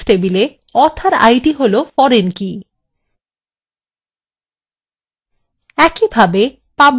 তাহলে books table author id হলো foreign key